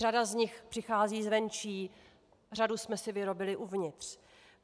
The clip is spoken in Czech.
Řada z nich přichází zvenčí, řadu jsme si vyrobili uvnitř.